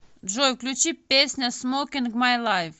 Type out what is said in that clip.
джой включи песня смокин май лайф